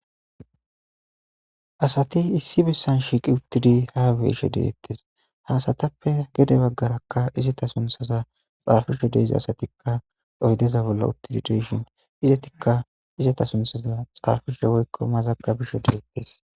asati issi bessan shiiqi uttidi ha beesho deettes hasatappe gede baggarakka izata sunthaza xaafisho deeza asatikka oydeza bolla uttidideshin izatikka izata sunthaza xaafisho woykko mazagabisho deettes